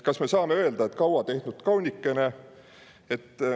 Kas me saame öelda, et kaua tehtud kaunikene?